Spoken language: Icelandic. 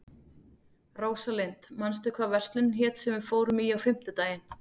Rósalind, manstu hvað verslunin hét sem við fórum í á fimmtudaginn?